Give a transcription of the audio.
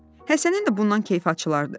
Həsənin də bundan kefi açılardı.